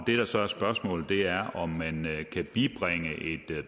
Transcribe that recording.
det der så er spørgsmålet er om man